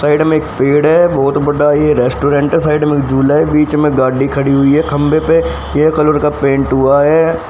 Side में एक पेड़ है बहोत बडा ये रेस्टोरेंट साइड में झूले बीच में गाडी खड़ी हुई है खंबे पे यह कलर का पेंट हुआ है।